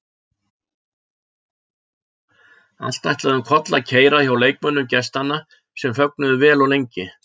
Allt ætlaði um koll að keyra hjá leikmönnum gestanna sem fögnuðu vel og lengi.